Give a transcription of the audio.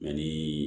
Mɛ ni